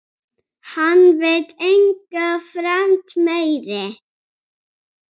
Hann veit enga fremd meiri.